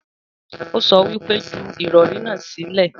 Ó sọ wípé 'Ju ìrọ̀rí náà sílẹ̀'